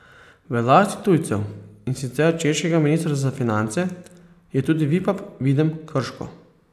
V lasti tujcev, in sicer češkega ministrstva za finance, je tudi Vipap Videm Krško.